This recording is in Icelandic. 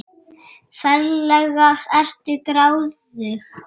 Ferlega ertu gráðug!